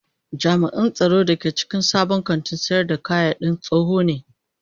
Jami'in tsaron da ke cikin sabon kantin sayar da kayadin tsoho ne